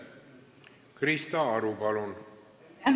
Krista Aru, palun!